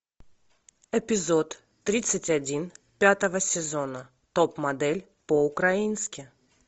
эпизод тридцать один пятого сезона топ модель по украински